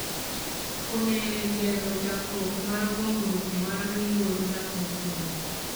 konyo e gero chakruok mar gongruok mar yor dak e gwenge